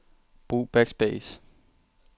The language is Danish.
Brug backspace.